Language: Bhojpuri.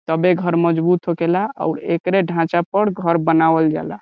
तब्बे घर मजबूत होकेला औउर एकरे ढांचा पर घर बनावल जाला।